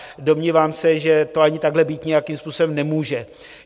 Domnívám se, že to ani takhle být nějakým způsobem nemůže.